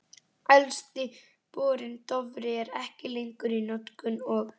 Elsti borinn, Dofri, er ekki lengur í notkun, og